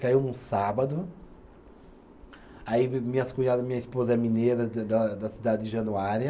Caiu num sábado, aí minhas cunhada, minha esposa é mineira da da da cidade de Januária,